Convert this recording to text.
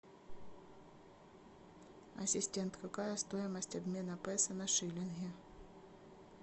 ассистент какая стоимость обмена песо на шиллинги